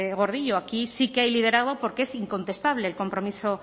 gordillo aquí sí que hay liderazgo porque es incontestable el compromiso